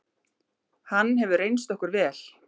Hann hefur reynst okkur vel.